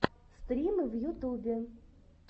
стримы в ютубе